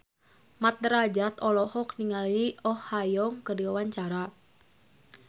Mat Drajat olohok ningali Oh Ha Young keur diwawancara